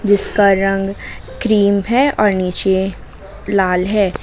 जिसका रंग क्रीम है और नीचे लाल है।